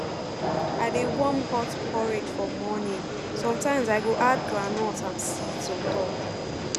i dey warm hot porridge for morning sometimes i go add groundnut and seeds on top